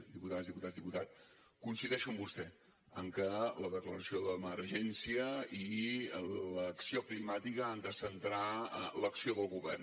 diputades diputats diputat coincideixo amb vostè que la declaració d’emergència i l’acció climàtica han de centrar l’acció del govern